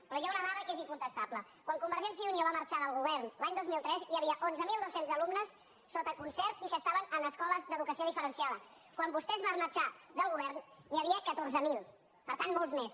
però hi ha una dada que és incontestable quan convergència i unió va marxar del govern l’any dos mil tres hi havia onze mil dos cents alumnes sota concert i que estaven en escoles d’educació diferenciada quan vostès van marxar del govern n’hi havia catorze mil per tant molts més